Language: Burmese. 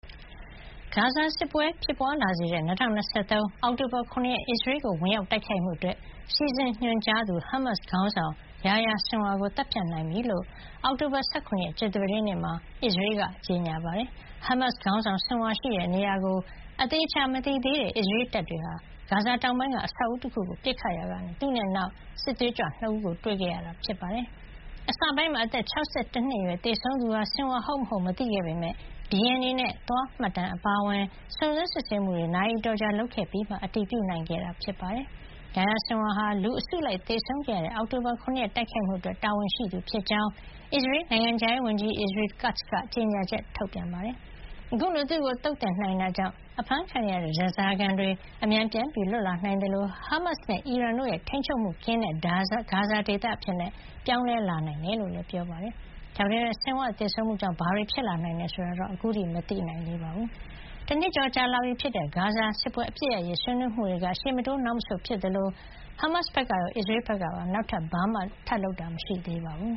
ဂါဇာစစ်ပွဲ ဖြစ်ပွါးလာစေတဲ့ ၂၀၂၃ အောက်တိုဘာ ၇ ရက် အစ္စရေးကို ဝင်ရောက်တိုက်ခိုက်မှုအတွက် စီစဉ်ညွှန်ကြားသူ ဟာမတ်စ်ခေါင်းဆောင် Yahya Sinwar ကို သတ်ဖြတ်နိုင်ပြီဖြစ်ကြောင်း အောက်တိုဘာ ၁၇ ရက် ကြာသပတေးနေ့မှာ အစ္စရေးက ကြေညာပါတယ်။ ဟာမတ်စ်ခေါင်းဆောင် Sinwar ရှိတဲ့နေရာကို သေချာမသိသေးတဲ့ အစ္စရေးတပ်တွေဟာ ဂါဇာတောင်ပိုင်းက အဆောက်အဦးတခုကို ပစ်ခတ်ရာကနေ သူနဲ့အတူ နောက်ထပ်စစ်သွေးကြွ ၂ ဦးကို တွေ့ခဲ့ရတာ ဖြစ်ပါတယ်။ အစပိုင်းမှာ အသက် ၆၁ နှစ်အရွယ်သေဆုံးသူဟာ Sinwar ဟုတ်မဟုတ် မသိခဲ့ပေမယ့် DNA နဲ့ သွားမှတ်တမ်း အပါအဝင် စုံစမ်း စစ်ဆေးမှုတွေ နာရီအတော်ကြာ လုပ်ခဲ့ပြီးမှ အတည်ပြုနိုင်ခဲ့တာ ဖြစ်ပါတယ်။ Yahya Sinwar ဟာ လူအစုလိုက် သေဆုံးခဲ့ရတဲ့ အောက်တိုဘာ ၇ ရက် တိုက်ခိုက်မှုအတွက် တာဝန်ရှိသူဖြစ်ကြောင်း အစ္စရေး နိုင်ငံခြားရေးဝန်ကြီး Israel Katz က ကြေညာချက်ထုတ်ပါတယ်။ အခုလို သူ့ကိုသုတ်သင်နိုင်ခဲ့တာကြောင့် အဖမ်းခံနေရတဲ့ ဓါးစာခံတွေ အမြန်ပြန်လွတ်လာနိုင်သလို ဟာမတ်စ်နဲ့အီရန်တို့ရဲ့ ထိန်းချုပ်မှုကင်းတဲ့ ဂါဇာဒေသအဖြစ် ပြောင်းလဲလာနိုင်တယ်လို့လည်း ပြောပါတယ်။ ဒါပေမယ့် Sinwar သေဆုံးမှုကြောင့် ဘာတွေ ဖြစ်လာနိုင်တယ်ဆိုတာာ အခုထိတော့ မသိနိုင်သေးပါဘူး။ တနှစ်ကျော်လာပြီဖြစ်တဲ့ ဂါဇာစစ်ပွဲ အပစ်ရပ်ရေး ဆွေးနွေးမှုတွေက ရှေ့မတိုးနောက်မဆုတ်ဖြစ်နေ သလို ဟာမတ်စ်ဘက်ကရော အစ္စရေးဘက်ကပါ နောက်ထပ် ဘာမှ လုပ်ဆောင်တာမရှိသေးပါဘူး